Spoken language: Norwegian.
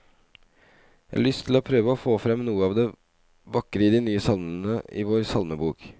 Jeg har lyst til å prøve å få frem noe av det vakre i de nye salmene i vår salmebok.